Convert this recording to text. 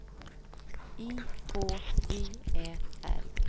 I H J Ä L